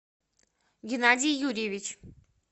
геннадий юрьевич